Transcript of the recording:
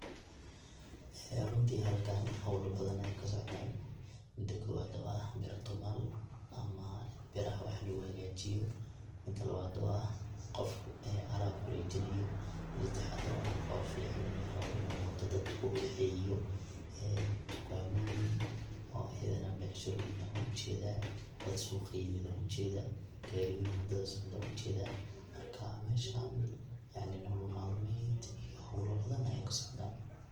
Ee runti halkan howla badan aya kasocdanmida kobad waa bira tumal ama biraha wax lugu hagajiyo, mida labad waa qof alab warejinayo, mida sedexaad oo ah qof yacni raabo in uu mota dad kukaxeeyo ee tukaamoyin oo ayadan becshiroyin wan ujedaa, dad suuq kayimid ayan ujedaa, gaariyoyin wada socdo ayan ujedaa marka meshan yacni nolol malmeed howla badan aya kasocdan.